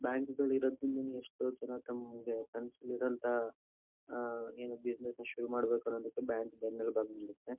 Bank ಗಳು ಇರೋದ್ರಿಂದನೆ ಎಷ್ಟೋ ಜನ ತಮಗೆ ಕನಸ್ಗಳು ಇರುವಂತಹ ಆಹ್ಹ್ ಏನು ಬಿಸಿನೆಸ್ ನಾ ಶುರು ಮಾಡಬೇಕು ಅನ್ನೋದಕ್ಕೆ ಬ್ಯಾಂಕ್ ಬೆನ್ನೆಲುಬಾಗಿ ನಿಲ್ಲುತ್ತೆ.